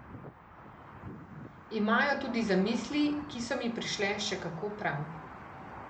Imajo tudi zamisli, ki so mi prišle še kako prav.